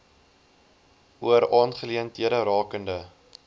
oor aangeleenthede rakende